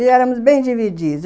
E éramos bem divididos.